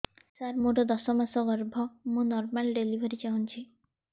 ସାର ମୋର ଦଶ ମାସ ଗର୍ଭ ମୁ ନର୍ମାଲ ଡେଲିଭରୀ ଚାହୁଁଛି